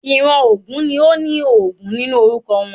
Ìran ògún ni óní Ògún nínú orúkọ wọ́n